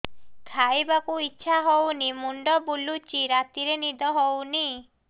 ଖାଇବାକୁ ଇଛା ହଉନି ମୁଣ୍ଡ ବୁଲୁଚି ରାତିରେ ନିଦ ହଉନି